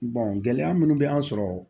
gɛlɛya minnu bɛ an sɔrɔ